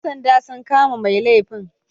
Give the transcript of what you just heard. Yan sanda sun kama mai laifin